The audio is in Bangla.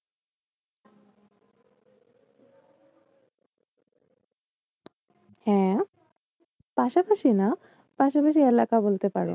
হ্যাঁ পাশাপাশি না পাশাপাশি এলাকা বলতে পারো।